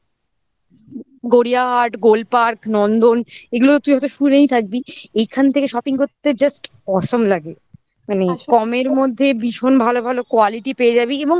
গড়িয়াহাট গোলপার্ক নন্দন এগুলো তুই হয়তো শুনেই থাকবি এইখান থেকে shopping করতে just awesome লাগে মানে কমের মধ্যে ভীষণ ভালো ভালো quality পেয়ে যাবি এবং